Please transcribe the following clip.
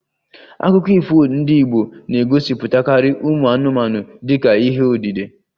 Akụkọ ifo ndị Igbo na-egosipụtakarị ụmụ anụmanụ dịka ihe odide